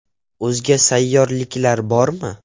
O‘zga sayyoraliklar bormi?